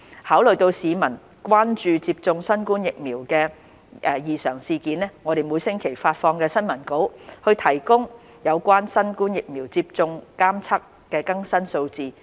考慮到市民關注接種新冠疫苗後的異常事件，我們每星期發放新聞稿，提供有關新冠疫苗接種監測的更新數字。